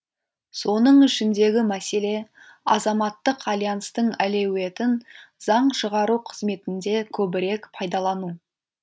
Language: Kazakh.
соның ішіндегі мәселе азаматтық альянстың әлеуетін заң шығару қызметінде көбірек пайдалану